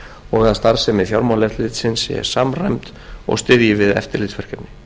og að starfsemi fjármálaeftirlitsins sé samræmd og styðji við eftirlitsverkefni